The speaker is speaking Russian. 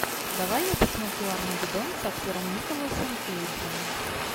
давай я посмотрю армагеддон с актером николасом кейджем